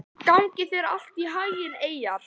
Gangi þér allt í haginn, Eyjar.